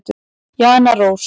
Jana Rós.